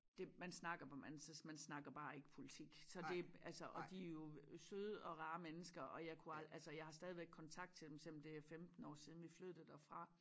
Det man snakker bare man altså man snakker bare ikke politik så det altså og de jo søde og rare mennesker og jeg kunne altså jeg har stadigvæk kontakt til dem selvom det er 15 år siden vi flyttede derfra